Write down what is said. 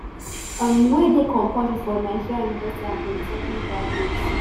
um wey dey compulsory for nigerian university and polytechnic graduates